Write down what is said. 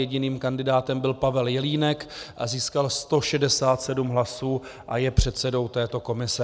Jediným kandidátem byl Pavel Jelínek a získal 167 hlasů a je předsedou této komise.